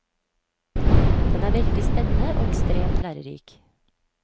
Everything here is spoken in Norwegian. Den er veldig spennende og ekstremt lærerik.